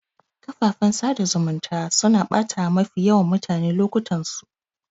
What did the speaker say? Kafafen sada zumunta suna batawa mafi yawan mutane lokutansu